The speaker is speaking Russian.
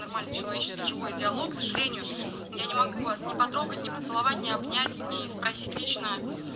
нормальный человеческий живой диалог к сожалению я не могу вас не потрогать не поцеловать не обнять не спросить лично